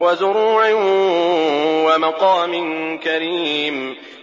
وَزُرُوعٍ وَمَقَامٍ كَرِيمٍ